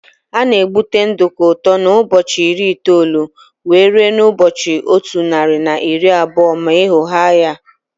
Ana egute nduku ụtọ n' ụbọchị iri itoolu wee ruo na ụbọchị ọtu narị na iri abụọ ma eghoghaa ya.